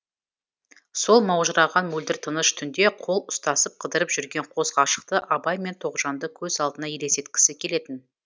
сол маужыраған мөлдір тыныш түнде қол ұстасып қыдырып жүрген қос ғашықты абай мен тоғжанды көз алдына елестеткісі келетін